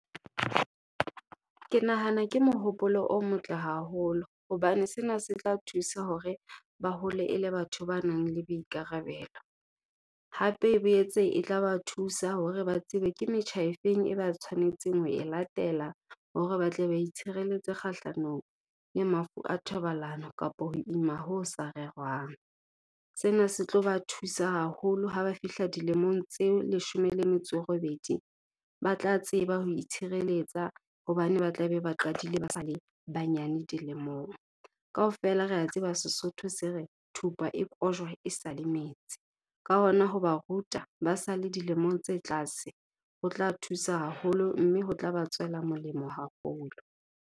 Ke nahana ke mohopolo o motle haholo hobane sena se tla thusa hore ba hole e le batho ba nang le boikarabelo. Hape e boetse e tla ba thusa hore ba tsebe ke metjha efeng e ba tshwanetseng ho e latela hore ba tle ba itshireletse kgahlanong le mafu a thobalano kapa ho ima ho sa rerwang. Sena se tlo ba thusa haholo ha ba fihla dilemong tse leshome le metso e robedi, ba tla tseba ho itshireletsa hobane ba tla be ba qadile ba sale banyenyane dilemong. Kaofela re a tseba Sesotho se re, thupa e kojwa e sale metsi, ka hona ho ba ruta ba sale dilemong tse tlase, ho tla thusa haholo mme ho tla ba tswela molemo haholo.